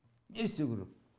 не істеу керек